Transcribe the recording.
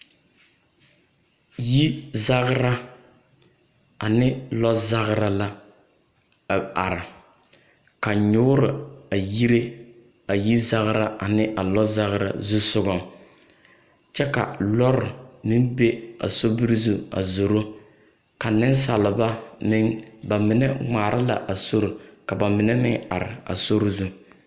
Yizagra ane lɔɔzagra la a are, ka nyoore a yire a yizagra ane a lɔɔzagra zusogaŋ kyɛ ka lɔre naŋ be a sori zu a zoro, ka nensaalba meŋ bamine ŋmaara la sori ka bamine meŋ are a sori zu. 13350.